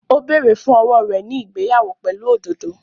Ó bẹ̀rẹ̀ fún owó rẹ̀ ní ìgbéyàwó pẹ̀lú òdòdó